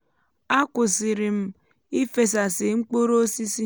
a kwụsịrị m um ífesásí mkpụrụ osisi um